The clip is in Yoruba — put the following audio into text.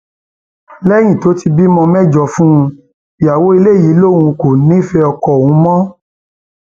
lẹyìn tó ti bímọ mẹjọ fún un ìyàwó ilé yìí lòun kò nífẹẹ ọkọ òun mọ